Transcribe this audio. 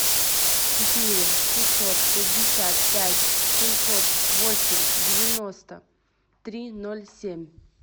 четыре шестьсот пятьдесят пять семьсот восемь девяносто три ноль семь